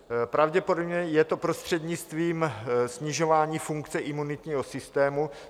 Pravděpodobně je to prostřednictvím snižování funkce imunitního systému.